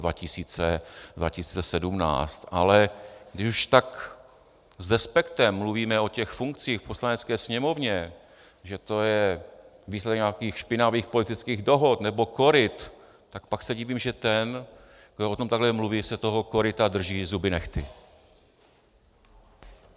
Ale když už tak s despektem mluvíme o těch funkcích v Poslanecké sněmovně, že to je výsledek nějakých špinavých politických dohod nebo koryt, tak pak se divím, že ten, kdo o tom takhle mluví, se toho koryta drží zuby nehty.